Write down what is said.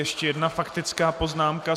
Ještě jedna faktická poznámka.